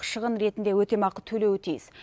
шығын ретінде өтемақы төлеуі тиіс